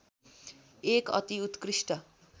एक अति उत्कृष्ट